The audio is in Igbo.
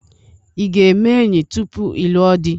I ga-eme enyi tupu ịlụọ dị?